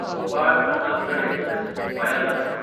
भोपाळ–प्रतापगड express (वाया Lucknow)